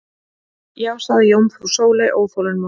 Já sagði jómfrú Sóley óþolinmóð.